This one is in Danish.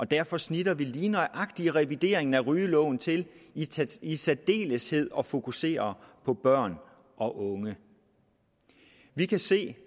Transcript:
derfor snitter vi lige nøjagtig revideringen af rygeloven til i særdeleshed at fokusere på børn og unge vi kan se